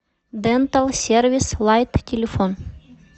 дентал сервис лайт телефон